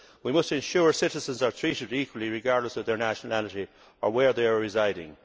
We must ensure citizens are treated equally, regardless of their nationality or where they are residing.